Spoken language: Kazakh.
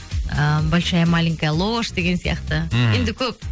ііі большая маленькая ложь деген сияқты мхм енді көп